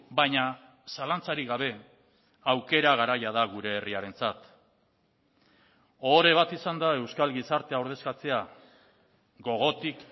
baina zalantzarik gabe aukera garaia da gure herriarentzat ohore bat izan da euskal gizartea ordezkatzea gogotik